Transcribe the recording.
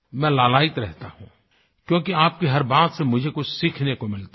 मैं लालायित रहता हूँ क्योंकि आप की हर बात से मुझे कुछ सीखने को मिलता है